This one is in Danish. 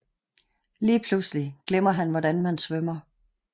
Lige pludselig glemmer han hvordan man svømmer